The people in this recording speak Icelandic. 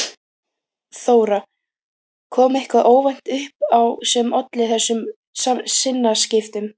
Þóra: Kom eitthvað óvænt upp á sem olli þessum sinnaskiptum?